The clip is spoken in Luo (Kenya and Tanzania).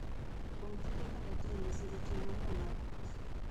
Kuom tije kata timbe, siro tiyo mayom mar ot.